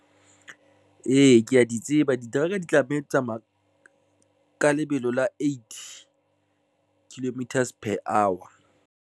Ee, ke ya di tseba diteraka di tlameha di tsamaya ka lebelo la eight kilometers per hour.